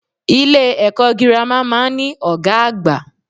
Ilé èkó girama máa n ní Ògá àgbà